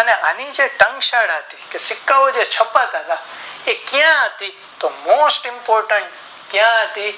અને ણૌ જે તાગસર્કર હતું કે સિક્કા ઓ જે છપાતા હતા તે ક્યાં હતી તો Most Impotent ક્યાં હતી